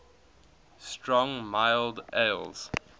strong mild ales